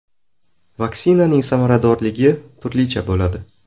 Vaksinaning samaradorligi turlicha bo‘ladi.